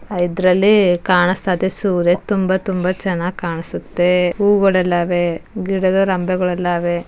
ಇದರಲ್ಲಿ ಕಾಣಿಸ್ತಾಯಿದೆ ಸೂರ್ಯ ತುಂಬ ತುಂಬ ಚೆನ್ನಾಗಿ ಕಾಣ್ಸುತ್ತೆ ಹೂವುಗಲ್ಲೆಲ್ಲ ಅವೆ ಗಿಡದ ರಂಬೆಗಳೆಲ್ಲ ಅವೆ.